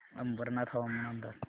अंबरनाथ हवामान अंदाज